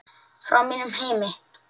Frá mínum heimi.